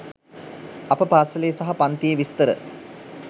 අප පාස‍ලේ සහ පන්තියේ විස්තර